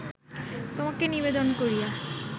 তোমাকে নিবেদন করিয়া